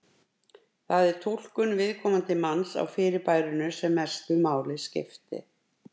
Það sé túlkun viðkomandi manns á fyrirbærinu sem mestu máli skipti.